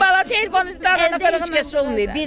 Dəlisin bala, telefonu üzdən dalıya-qabağa gəz olmur.